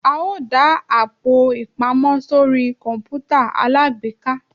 a o da Àpò-ìpamọ́ sorí kọǹpútà alágbèéká.